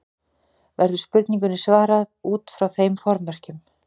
Verður spurningunni svarað út frá þeim formerkjum.